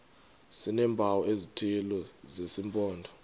sineempawu ezithile zesimpondo